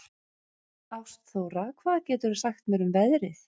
Ástþóra, hvað geturðu sagt mér um veðrið?